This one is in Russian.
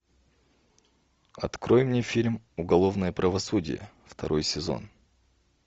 открой мне фильм уголовное правосудие второй сезон